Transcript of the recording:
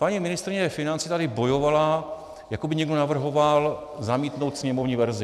Paní ministryně financí tady bojovala, jako by někdo navrhoval zamítnout sněmovní verzi.